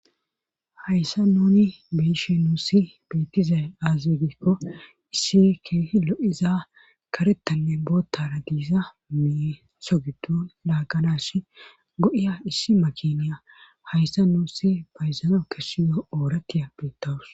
hayssa nuni beishe nuussi bettizay aazigikko issi keehi lo7iza karetanle bootara giiza mie sogudu laagganas go7iya issi makiniya hayssa nuusi bayzana kessiyo oorattiya beettawus